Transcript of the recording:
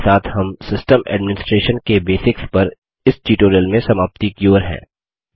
इसी के साथ हम सिस्टम एडमिनिसट्रेशन के बेसिक्स पर इस ट्यूटोरियल में समाप्ति की ओर हैं